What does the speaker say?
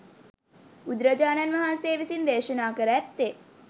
බුදුරජාණන් වහන්සේ විසින් දේශනා කර ඇත්තේ